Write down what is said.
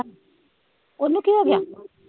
ਉਹਨੂੰ ਕੀ ਗਿਆ।